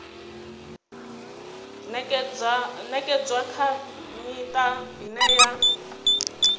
ṅekedzwa kha miṱa ine ya